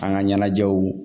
An ka ɲɛnajɛw